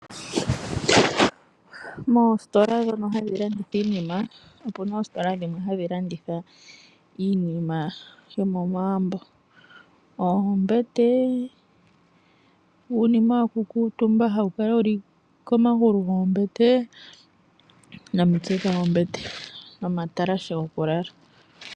Moositola ndhono hadhi landitha iinima , opuna oositola dhimwe hadhi landitha iinima yomomagumbo , oombete, uunima wokukuutumba hawu kala wuli komagulu goombete , omitse dhombete nomatalashe gokulala.